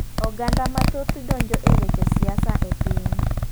Oganda mathoth donjo e weche siasa e piny.